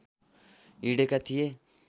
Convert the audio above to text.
हिँडेका थिए